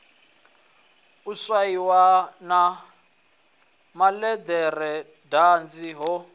u swaiwa na malederedanzi ho